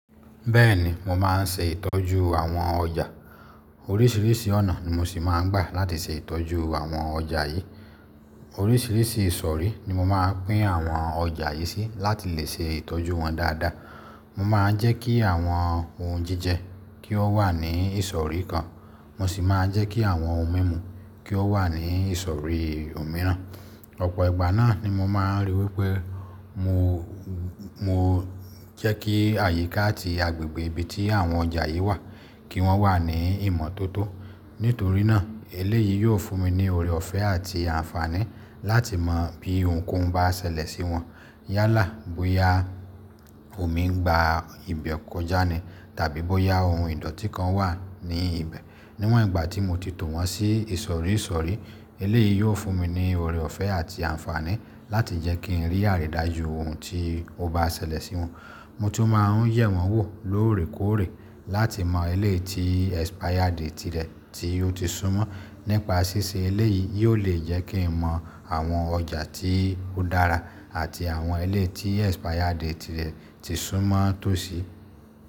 Bẹ́ẹ̀ni, mo má n ṣe ìtọ́jú àwọn ọjà. Oríṣiríṣi ọ̀nà ni mo sì má n gbà láti ṣe ìtọ́jú àwọn ọjà yìí. Oríṣiríṣi ìsọ̀rí ni mo maá pín àwọn ọjà yìí sí láti lè ṣe ìtọ́jú wọn dáadáa. Mo máa jẹ́ kí àwọn ohun jíjẹ kí ó wà ní ìsọ̀rí kan. Mo sì má a jẹ́ kí àwọn ohun mímu kí ó wà ní ìsọ̀rí òmíràn. Ọ̀pọ̀ ìgbà náà ni mo máa n ríi wípé mo, mo jẹ́ kí àyíká àti agbègbè ibi tí àwọn ọjà yìí wà kí wọ́n wà ní ìmọ́tótó. Nítorí náà, eléyìí yóò fún mi ní ọorẹ ọ̀fẹ́ àti àǹfààní láti mọ bí ohunkóhun bá ṣẹlẹ̀ sí wọn. Yálà bóyá omi ń gba ibẹ̀ kọjá ni tàbí bóyá ohun ìdọ́tí kan wà ní ibẹ̀. Níwọ̀n ìgbà tí mo ti tọ̀ wọ́n sí ìsọ̀rí ìsọ̀rí, eléyìí yóò fún mi ní ọorẹ ọ̀fẹ́ àti àǹfààní láti jẹ́ kí n rí àrídájú ohun tí ó bá ṣẹlẹ̀ sí wọn. Mo tún má a ń yẹ̀ wọ́n wò lóòrèkóòrè láti mọ eléyìí tí expiry date rẹ̀ tí ó ti súnmọ́. Nípa ṣíṣe eléyìí, yóò lè jẹ́ kí n mọ àwọn ọjà tí ó dára àti àwọn eléyìí tí expiry date rẹ̀ ti súnmọ́ tó sí.